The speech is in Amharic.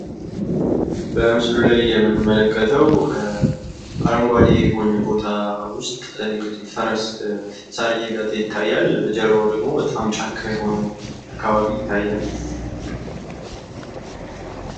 በምስሉ ላይ የምንመለከተው እንግዲህ አረንጓዴ በሆነ ሳር ውስጥ ፈረስ ሳር እየጋጠ ይታያል። በጀርባው ደግሞ በጣም ጫካ የሆነ አካባቢ ይታያል።